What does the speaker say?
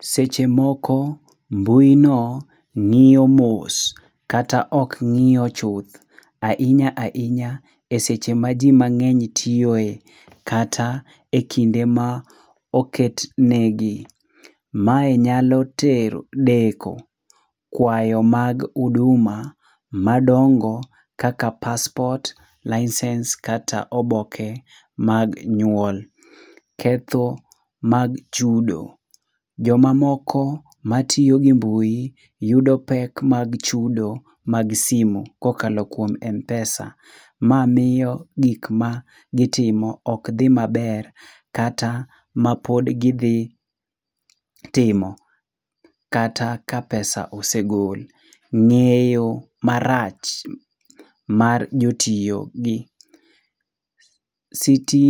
Seche moko mbui no ng'iyo mos, kata ok ng'iyo chuth ahinya ahinya eseche ma ji mang'eny tiyoe kata ekinde ma oket negi. Mae nyalo tero deko kwayo mag huduma madongo kaka passport, license kata oboke mag nyuol. Ketho mag chudo: Jomamoko matiyo gi mbui yudo pek mag chudo mag simu kokalo kuom m-pesa. Ma miyo gik magitimo ok dhi maber kata mapod gidhi timo kata ka pesa osegol. Ng'eyo marach mar jotiyo gi siti